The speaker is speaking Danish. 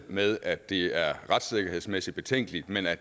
med at det er retssikkerhedsmæssigt betænkeligt men at